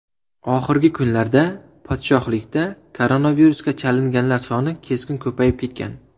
Oxirgi kunlarda podshohlikda koronavirusga chalinganlar soni keskin ko‘payib ketgan.